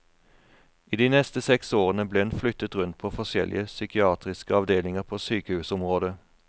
I de neste seks årene ble hun flyttet rundt på forskjellige psykiatriske avdelinger på sykehusområdet.